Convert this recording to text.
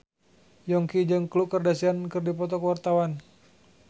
Yongki jeung Khloe Kardashian keur dipoto ku wartawan